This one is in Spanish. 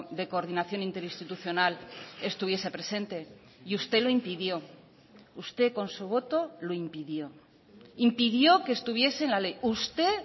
de coordinación interinstitucional estuviese presente y usted lo impidió usted con su voto lo impidió impidió que estuviese en la ley usted